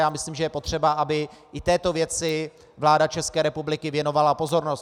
Já myslím, že je potřeba, aby i této věci vláda České republiky věnovala pozornost.